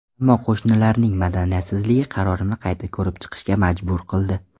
Ammo qo‘shnilarning madaniyatsizligi qarorimni qayta ko‘rib chiqishga majbur qildi.